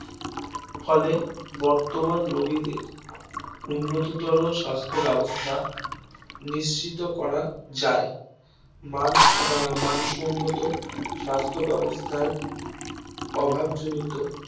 ফলে বর্তমান রোগীদের উন্নততর স্বাস্থ্য ব্যাবস্থা নিশ্চিত করা যায় মানসম্মত স্বাস্থ্য ব্যবস্থার অভাবজনিত কারণে